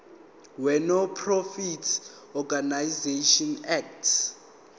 wenonprofit organisations act